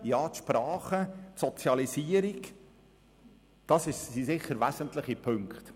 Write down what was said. Die Sprache und die Sozialisierung sind sicher wesentliche Punkte.